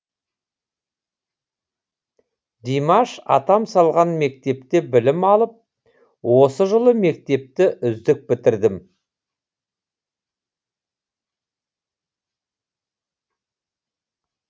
димаш атам салған мектепте білім алып осы жылы мектепті үздік бітірдім